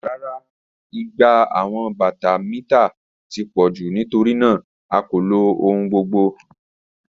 Rara, igba awọn bata mita ti pọ ju nitorinaa a ko lo ohun gbogbo.